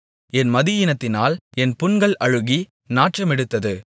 என் மதியீனத்தினால் என் புண்கள் அழுகி நாற்றமெடுத்தது